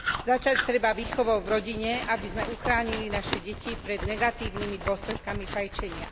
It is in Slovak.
Začať treba výchovou v rodine, aby sme uchránili naše deti pred negatívnymi dôsledkami fajčenia.